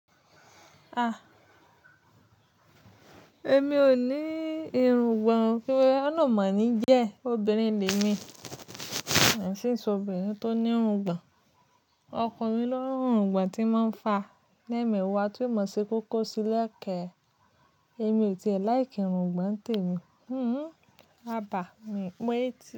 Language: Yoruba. A! Èmi ò ní irungbọ̀n kí olorun mọ̀ ní jẹ́ obìnrin le mí, ińseese obìnrin tó ní irungbọ̀n. Ọkùnrin ló ń ni irungbọ̀n tí máa ń fa lẹ́ẹ̀mẹ̀wà tó ì mọ̀ ṣe kókó sílẹ̀kẹ̀. Èmi ò tiẹ̀ láìkí irungbọ̀n tèmi. Hhm. Aba mi ń pè é ti.